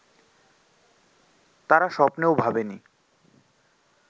তারা স্বপ্নেও ভাবেনি